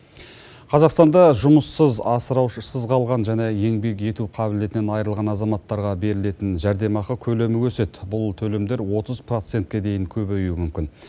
қазақстанда жұмыссыз асыраушысыз қалған және еңбек ету қабілетінен айрылған азаматтарға берілетін жәрдемақы көлемі өседі бұл төлемдер отыз процентке дейін көбеюі мүмкін